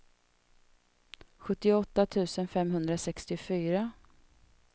sjuttioåtta tusen femhundrasextiofyra